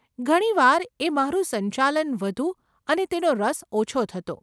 ઘણી વાર એ મારું સંચાલન વધુ અને તેનો રસ ઓછો થતો.